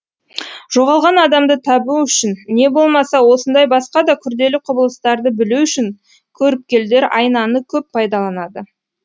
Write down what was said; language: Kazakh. жоғалған адамды табу үшін не болмаса осындай басқа да күрделі құбылыстарды білу үшін көріпкелдер айнаны көп пайдаланады